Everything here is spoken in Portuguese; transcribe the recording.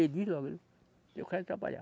Ele diz logo, eu quero trabalhar.